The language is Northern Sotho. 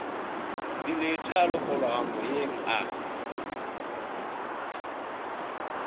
dilete a lokologa moyeng a